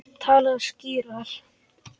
Talaðu skýrar.